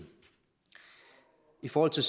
i forhold til